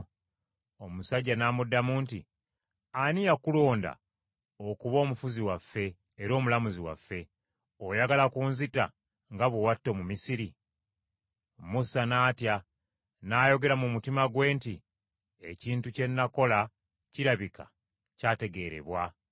Omusajja n’amuddamu nti, “Ani eyakulonda okuba omufuzi waffe era omulamuzi waffe? Oyagala kunzita nga bwe watta Omumisiri?” Musa n’atya, n’ayogera mu mutima gwe nti, “Ekintu kye nakola kirabika kyategeerebwa.”